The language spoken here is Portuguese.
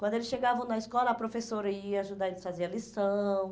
Quando eles chegavam na escola, a professora ia ajudar eles a fazer a lição.